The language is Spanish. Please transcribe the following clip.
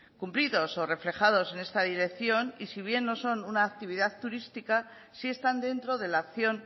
cumplidos o reflejados en esta dirección si bien no son una actividad turística sí están dentro de la acción